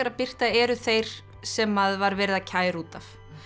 birti eru þeir sem var verið að kæra út af